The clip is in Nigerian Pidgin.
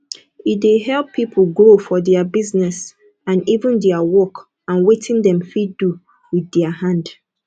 e de help pipo grow for their business and even their work and wetin dem fit do with their hand